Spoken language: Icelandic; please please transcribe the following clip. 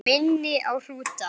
Hún minni á hrúta.